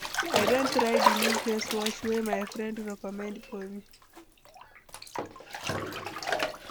I don try di new face wash wey my friend recommend for me.